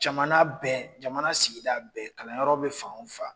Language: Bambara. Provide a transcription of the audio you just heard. Jamana bɛɛ jamana, jamana sigida bɛɛ, kalanyɔrɔ bɛ fan o fan